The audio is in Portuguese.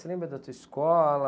Você lembra da tua escola?